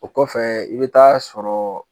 O kɔfɛ i bɛ taa sɔrɔ